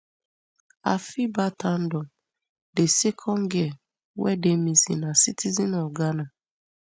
afiba tandor di second girl wey dey missing na citizen of ghana